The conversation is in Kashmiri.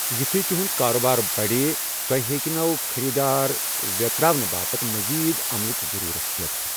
یتھے تٗہٗند كارٕبار بڑِ، تۄہہِ ہیٚكہِ نٔوۍ خٔریدار وٮ۪تراونہٕ باپتھ مزید عملٕچ ضٔرورت پٮ۪تھ۔